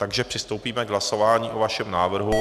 Takže přistoupíme k hlasování o vašem návrhu.